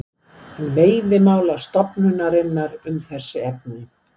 Veiðimálastofnunarinnar um þessi efni.